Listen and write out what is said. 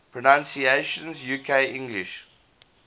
pronunciations uk english